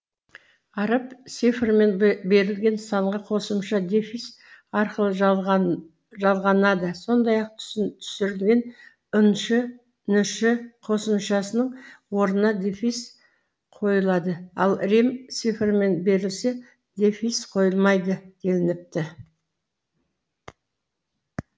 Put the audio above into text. араб цифрымен берілген санға қосымша дефис арқылы жалғанады сондай ақ түсірілген ыншы ншы қосымшасының орнына дефис қойылады ал рим цифрымен берілсе дефис қойылмайды делініпті